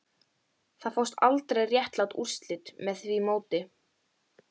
Það fást aldrei réttlát úrslit með því móti